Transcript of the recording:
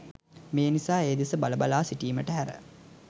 මේ නිසා ඒ දෙස බල බලා සිටීමට හැර